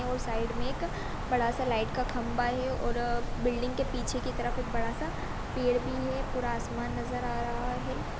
और साइड में एक बड़ा सा लाइट का खंभा है और अ बिल्डिंग के पीछे की तरफ बड़ा सा पेड़ भी है पूरा आसमान नज़र आ रहा है।